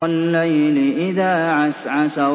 وَاللَّيْلِ إِذَا عَسْعَسَ